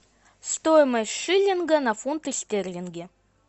стоимость шиллинга на фунты стерлинги